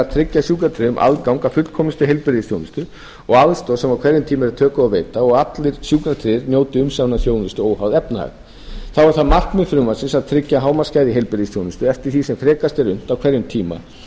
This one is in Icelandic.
tryggja sjúkratryggðum aðgang að fullkomnustu heilbrigðisþjónustu og aðstoð sem á hverjum tíma eru tök á að veita og að allir sjúkratryggðir njóti umsaminnar þjónustu óháð efnahag þá er það markmið frumvarpsins að tryggja hámarksgæði í heilbrigðisþjónustu eftir því sem frekast er unnt á hverjum tíma